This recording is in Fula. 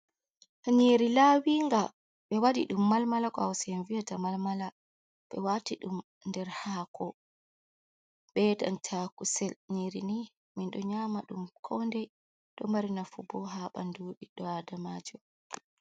Nyiri lawinga ɓe wadi ɗum malmala, ko Hausa vi'ata malmala, ɓe wati ɗum nder hako be nanta danta kusel, nyiri ni, min ɗoo nyama ɗum koo ndei ɗo mari nafuboo ha ɓandu bidɗo adamajo.